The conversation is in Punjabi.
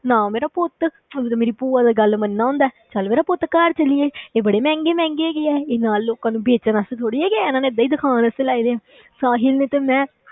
ਨਾ ਮੇਰਾ ਪੁੱਤ ਤੂੰ ਤੇ ਮੇਰੀ ਭੂਆ ਦਾ ਗੱਲ ਮੰਨਦਾ ਹੁੰਦਾ ਹੈ, ਚੱਲ ਮੇਰਾ ਪੁੱਤ ਘਰ ਚੱਲੀਏ ਇਹ ਬੜੇ ਮਹਿੰਗੇ ਮਹਿੰਗੇ ਹੈਗੇ ਆ, ਇਹ ਨਾਲ ਲੋਕਾਂ ਨੂੰ ਵੇਚਣ ਵਾਸਤੇ ਥੋੜ੍ਹੀ ਹੈਗੇ ਆ, ਇਹਨਾਂ ਨੇ ਏਦਾਂ ਹੀ ਦਿਖਾਉਣ ਵਾਸਤੇ ਲਾਏ ਹੋਏ ਆ ਸਾਹਿਲ ਨੇ ਤੇ ਮੈਂ